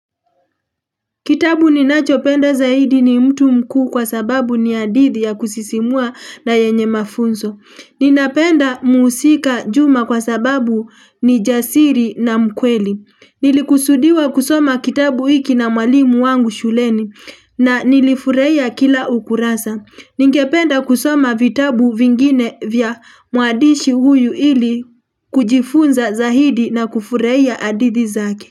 Kitabu ninachopenda zaidi ni mtu mkuu kwa sababu ni hadithi ya kusisimua na yenye mafunzo. Ninapenda muhusika juma kwa sababu ni jasiri na mkweli. Nilikusudiwa kusoma kitabu hiki na mwalimu wangu shuleni na nilifurahia kila ukurasa. Ningependa kusoma vitabu vingine vya mwadishi huyu ili kujifunza zaidi na kufurahia hadithi zake.